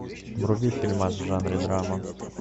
вруби фильмас в жанре драма